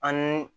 Ani